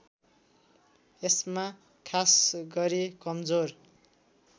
यसमा खासगरी कमजोर